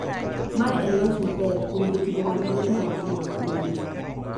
Mae en loch maber kuom jotugo ma nigi talanta mag Ulinzi